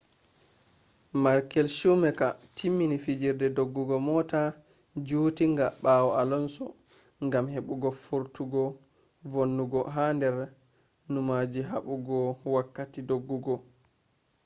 michael schumacher timmini fijirde doggugo mota jutinga bawo alonso gam hebugo fartugo vonnugo ha dar numaji habugo wokkati dogugo